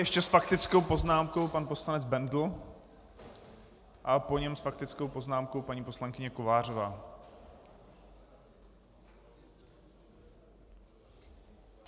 Ještě s faktickou poznámkou pan poslanec Bendl a po něm s faktickou poznámkou paní poslankyně Kovářová.